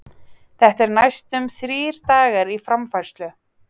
Þetta er næstum þrír dagar í framfærslu?